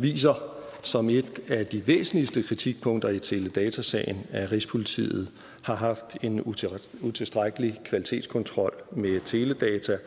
viser som et af de væsentligste kritikpunkter i teledatasagen at rigspolitiet har haft en utilstrækkelig kvalitetskontrol med teledata